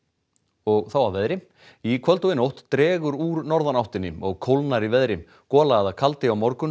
og þá að veðri í kvöld og nótt dregur úr norðanáttinni og kólnar í veðri gola eða kaldi á morgun